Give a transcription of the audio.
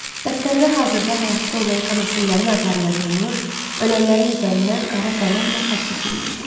Dəftərdə hazırda həyatda olan Kamasinlərin adları yazılmış, ölənlərin üzərindən qara qələmlə xətt çəkilmişdi.